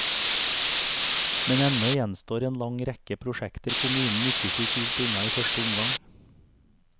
Men ennå gjenstår en lang rekke prosjekter kommunen ikke fikk gjort unna i første omgang.